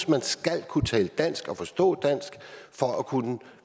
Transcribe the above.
man skal kunne tale dansk og forstå dansk for at kunne